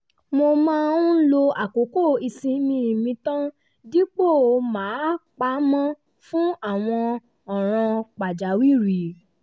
mo máa ń lo àkókò ìsinmi mi tàn dípò máa pa á mọ́ fún àwọn ọ̀ràn pàjáwìrì